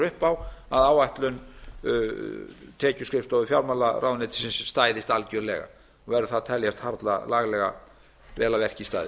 upp á að áætlun tekjuskrifstofu fjármálaráðuneytisins stæðist algerlega verður það að teljast harla laglega og vel að verki staðið